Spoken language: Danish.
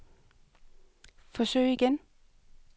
forsøg igen